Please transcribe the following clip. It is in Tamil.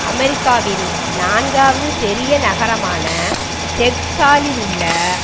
அமெரிக்காவின் நான்காவது பெரிய நகரமான டெக்சாலுள்ள